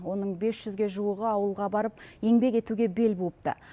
оның бес жүзге жуығы ауылға барып еңбек етуге бел буыпты